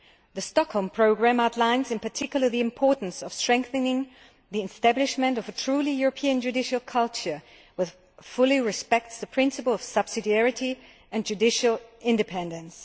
The Stockholm Programme outlines in particular the importance of strengthening the establishment of a truly European judicial culture which fully respects the principles of subsidiarity and judicial independence.